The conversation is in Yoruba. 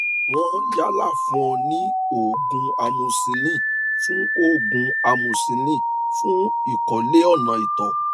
wọn yálà fún ọ ní òògùn amoxicillin fún òògùn amoxicillin fún ìkọlé ọnà ìtọ